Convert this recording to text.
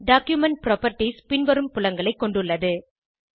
document properties பின்வரும் புலங்களைக் கொண்டுள்ளது